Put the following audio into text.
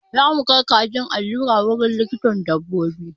Zamu kai kajin allura wurin likitan dabbobi.